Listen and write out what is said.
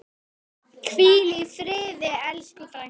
Hvíl í friði elsku frænka.